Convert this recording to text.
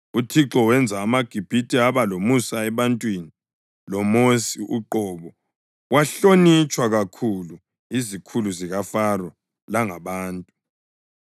( UThixo wenza amaGibhithe aba lomusa ebantwini, loMosi uqobo wahlonitshwa kakhulu yizikhulu zikaFaro langabantu.)